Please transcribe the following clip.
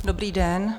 Dobrý den.